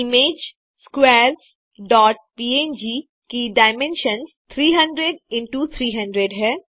image squares dot png की dimension 300एक्स300 है